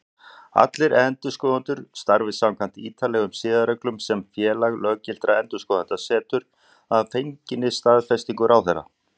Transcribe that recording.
Allir endurskoðendur starfi samkvæmt ítarlegum siðareglum sem Félag löggiltra endurskoðenda setur, að fenginni staðfestingu ráðherra.